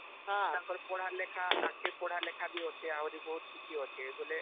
ହଁ ତାଙ୍କ ର ପଢା ଲେଖା ଆଗ କେ ପଢା ଲେଖା ବି ଅଛେ ଆହୁରି ବହୁତ କିଛି ଅଛେ ବୋଲେ